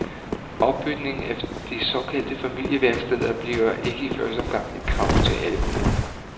Opbygningen af de såkaldte familieværksteder bliver ikke i første omgang et krav til alle kommuner.